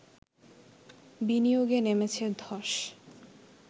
বিনিয়োগে নেমেছে ধস